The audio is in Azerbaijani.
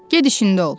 Ged işində ol.